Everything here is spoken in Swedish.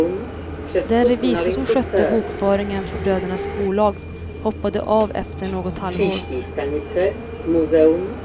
Den revisor som skötte bokföringen för brödernas bolag hoppade av efter något halvår.